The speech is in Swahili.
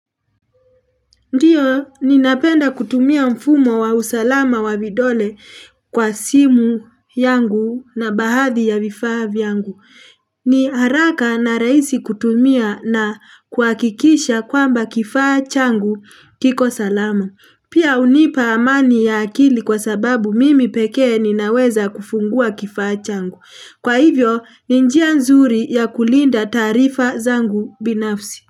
Ndiyo, ninapenda kutumia mfumo wa usalama wa vidole kwa simu yangu na bahadhi ya vifaa yangu. Ni haraka na raisi kutumia na kwakikisha kwamba kifaa changu kiko salama. Pia unipa amani ya akili kwa sababu mimi peke ninaweza kufungua kifaa changu. Kwa hivyo, ni nia nzuri ya kulinda taarifa zangu binafsi.